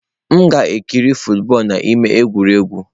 M gara ikiri football n'ámá egwuregwu.